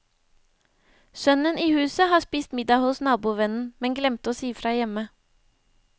Sønnen i huset har spist middag hos nabovennen, men glemte å si fra hjemme.